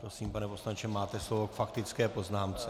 Prosím, pane poslanče, máte slovo k faktické poznámce.